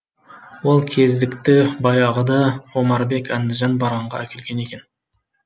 ол кездікті баяғыда омарбек әндіжан барғанда әкелген екен